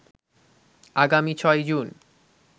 আগামী ৬ই জুন